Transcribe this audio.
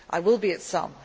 are simply too many.